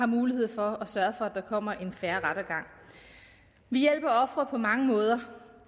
mulighed for at sørge for at der kommer en fair rettergang vi hjælper ofre på mange måder